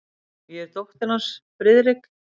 Ég er dóttir hans, Friðrik.